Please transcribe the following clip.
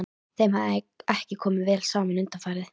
Þeim hafði ekki komið vel saman undanfarið.